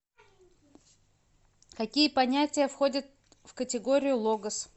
какие понятия входят в категорию логос